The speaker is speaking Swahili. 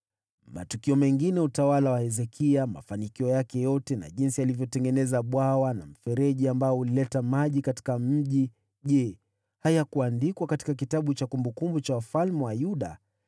Matukio mengine ya utawala wa Hezekia, mafanikio yake yote, na jinsi alivyotengeneza bwawa na mfereji ambao ulileta maji katika mji, je, hayakuandikwa katika kitabu cha kumbukumbu za wafalme wa Yuda?